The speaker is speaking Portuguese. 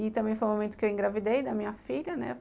E também foi o momento que eu engravidei da minha filha, né?